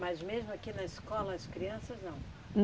Mas mesmo aqui na escola, as crianças não?